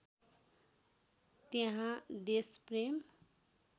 त्यहाँ देशप्रेम